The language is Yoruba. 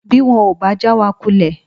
Bí wọn ò bá já wa kulẹ̀